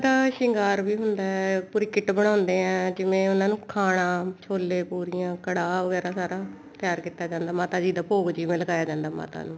ਸ਼ਿੰਗਾਰ ਵੀ ਹੁੰਦਾ ਪੂਰੀ kit ਬਣਾਉਂਦੇ ਆ ਜਿਵੇਂ ਉਹਨਾ ਨੂੰ ਖਾਣਾ ਛੋਲੇ ਪੂਰੀਆਂ ਘੜਾ ਵਗੈਰਾ ਸਾਰਾ ਤਿਆਰ ਕੀਤਾ ਜਾਂਦਾ ਮਾਤਾ ਜੀ ਦਾ ਭੋਗ ਲਗਾਇਆ ਜਾਂਦਾ ਮਾਤਾ ਨੂੰ